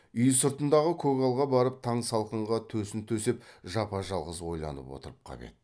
үй сыртындағы көгалға барып таң салқынға төсін төсеп жапа жалғыз ойланып отырып қап еді